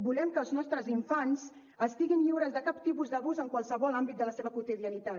volem que els nostres infants estiguin lliures de cap tipus d’abús en qualsevol àmbit de la seva quotidianitat